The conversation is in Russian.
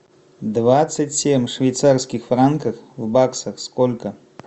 двадцать семь швейцарских франков в баксах сколько